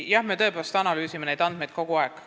Jah, me tõepoolest analüüsime neid andmeid kogu aeg.